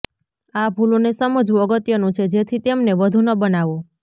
આ ભૂલોને સમજવું અગત્યનું છે જેથી તેમને વધુ ન બનાવો